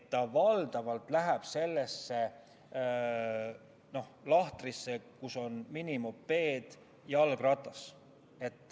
Ta läheb sellesse lahtrisse, kus on minimopeed ja jalgratas.